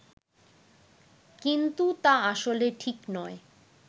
কিন্তু তা আসলে ঠিক নয়